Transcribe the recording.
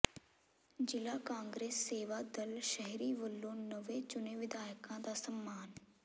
ਜ਼ਿਲ੍ਹਾ ਕਾਂਗਰਸ ਸੇਵਾ ਦਲ ਸ਼ਹਿਰੀ ਵੱਲੋਂ ਨਵੇਂ ਚੁਣੇ ਵਿਧਾਇਕਾਂ ਦਾ ਸਨਮਾਨ